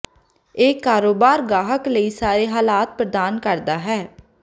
ਇਹ ਕਾਰੋਬਾਰ ਗਾਹਕ ਲਈ ਸਾਰੇ ਹਾਲਾਤ ਪ੍ਰਦਾਨ ਕਰਦਾ ਹੈ